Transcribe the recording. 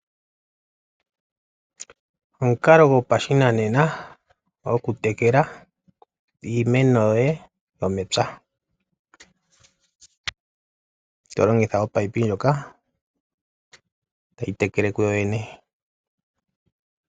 Omukalo goshinanena goku tekela iimeno yoye yomepya. To longitha ominino ngoka tagu tekele kugo gwene.